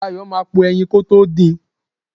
Dayo máa po ẹyin kótó din.